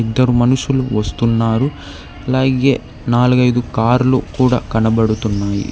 ఇద్దరు మనుషులు వస్తున్నారు అలాగే నాలుగు ఐదు కార్లు కూడా కనబడుతున్నాయి.